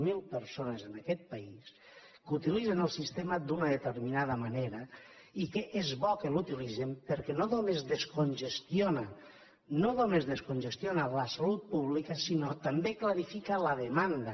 zero persones en aquest país que utilitzen el sistema d’una determinada manera i que és bo que l’utilitzen perquè no només descongestiona no només descongestiona la salut pública sinó que també clarifica la demanda